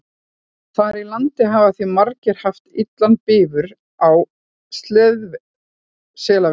Þar í landi hafa því margir haft illan bifur á selveiðum.